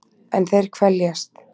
En þeir kveljast.